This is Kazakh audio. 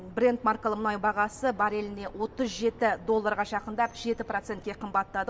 брент маркалы мұнай бағасы барреліне отыз жеті долларға жақындап жеті процентке қымбаттады